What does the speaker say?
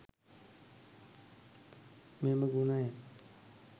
මෙම ගුණය